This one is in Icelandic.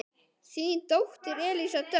Þín dóttir Elísa Dögg.